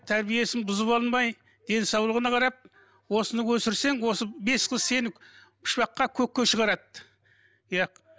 тәрбиесін бұзып алмай денсаулығына қарап осыны өсірсең осы бес қыз сені үш баққа көкке шығарады иә